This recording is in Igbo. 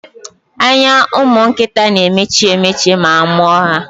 Anya ụmụnkịta na-emechi emechi ma amụọ ha.